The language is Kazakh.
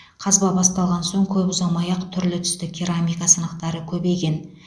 қазба басталған соң көп ұзамай ақ түрлі түсті керамика сынықтары көбейген